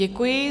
Děkuji.